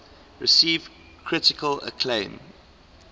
received critical acclaim